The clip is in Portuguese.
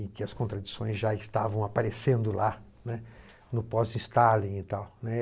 e que as contradições já estavam aparecendo lá, né, no pós-Stalin e tal.